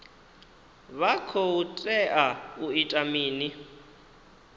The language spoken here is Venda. vha khou tea u ita mini